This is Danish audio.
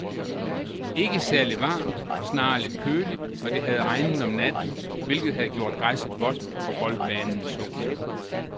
Ikke særligt varmt, snarere lidt køligt, og det havde regnet om natten, hvilket havde gjort græsset vådt og boldbanen tung.